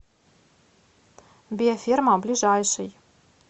биоферма ближайший